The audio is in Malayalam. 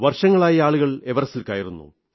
വർഷങ്ങളായി ആളുകൾ എവറസ്റ്റിൽ കയറുന്നു